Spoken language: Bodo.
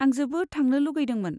आं जोबोद थांनो लुगैदोंमोन।